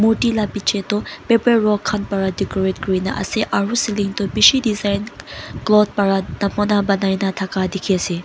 Morti bichi dae paper roll Khan para decorate kurikina asae aro ceiling toh bishi design cloth para bonai na taka diki asae.